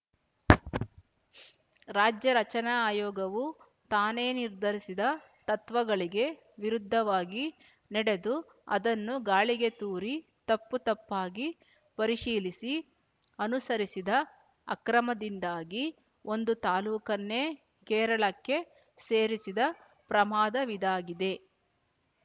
ರಾಜ್ಯ ರಚನಾ ಆಯೋಗವು ತಾನೇ ನಿರ್ಧರಿಸಿದ ತತ್ವಗಳಿಗೆ ವಿರುದ್ಧವಾಗಿ ನಡೆದು ಅದನ್ನು ಗಾಳಿಗೆ ತೂರಿ ತಪ್ಪು ತಪ್ಪಾಗಿ ಪರಿಶೀಲಿಸಿ ಅನುಸರಿಸಿದ ಅಕ್ರಮದಿಂದಾಗಿ ಒಂದು ತಾಲ್ಲೂಕನ್ನೇ ಕೇರಳಕ್ಕೆ ಸೇರಿಸಿದ ಪ್ರಮಾದವಿದಾಗಿದೆ